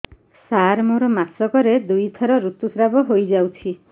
ସାର ମୋର ମାସକରେ ଦୁଇଥର ଋତୁସ୍ରାବ ହୋଇଯାଉଛି